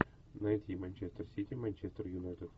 найти манчестер сити манчестер юнайтед